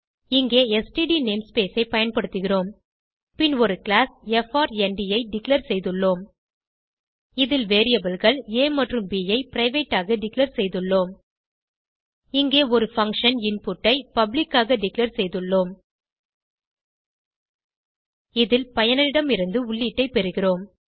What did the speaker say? இங்கே std namespace ஐ பயன்படுத்துகிறோம் பின் ஒரு கிளாஸ் frndஐ டிக்ளேர் செய்துள்ளோம் இதில் variableகள் ஆ மற்றும் ப் ஐ பிரைவேட் ஆக டிக்ளேர் செய்துள்ளோம் இங்கே ஒரு பங்ஷன் இன்புட் ஐ பப்ளிக் ஆக டிக்ளேர் செய்துள்ளோம் இதில் பயனர் இடமிருந்து உள்ளீட்டை பெறிகிறோம்